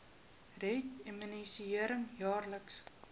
red immunisering jaarliks